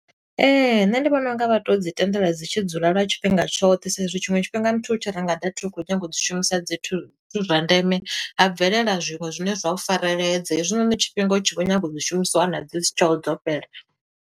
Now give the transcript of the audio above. Ee, nṋe ndi vhona unga vha to dzi tendela dzi tshi dzula lwa tshifhinga tshoṱhe sa i zwi tshiṅwe tshifhinga muthu u tshi renga data u khou nyaga u dzi shumisa zwithu zwa ndeme, ha bvelela zwiṅwe zwine zwa u fareledza. Hezwinoni tshifhinga u tshi vho nyaga u dzi shumisa u wana dzi si tsheho dzo fhela.